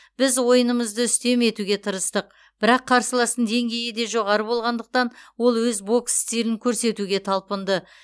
біз ойынымызды үстем етуге тырыстық бірақ қарсыластың деңгейі де жоғары болғандықтан ол өз бокс стилін көрсетуге талпынды